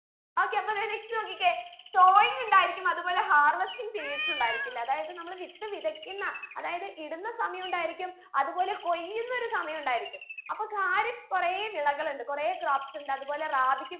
okay അപ്പൊ ദേ next നോക്കിക്കേ soil ഉണ്ടായിരിക്കും അത് പോലെ harvesting periods ഉണ്ടായിരിക്കില്ലേ അതായത് നമ്മൾ വിത്ത് വിതയ്ക്കുന്ന അതായത് ഇടുന്ന സമയമുണ്ടായിരിക്കും അത് പോലെ കൊയ്യുന്ന ഒരു സമയം ഉണ്ടായിരിക്കും അപ്പൊ ഖാരിഫ് കൊറേ വിളകൾ ഉണ്ട് കൊറേ crops ഉണ്ട് അത് പോലെ റാബിക്കും